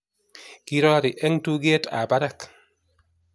Kirori eng' tuget ab barak